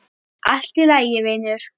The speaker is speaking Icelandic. Allt í lagi, vinur.